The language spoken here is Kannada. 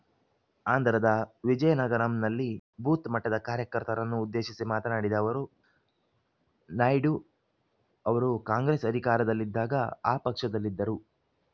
ಆಂಧ್ರದ ವಿಜಿಯನಗರಂನಲ್ಲಿ ಬೂತ್‌ ಮಟ್ಟದ ಕಾರ್ಯಕರ್ತರನ್ನು ಉದ್ದೇಶಿಸಿ ಮಾತನಾಡಿದ ಅವರು ನಾಯ್ಡು ಅವರು ಕಾಂಗ್ರೆಸ್‌ ಅಧಿಕಾರದಲ್ಲಿದ್ದಾಗ ಆ ಪಕ್ಷದಲ್ಲಿದ್ದರು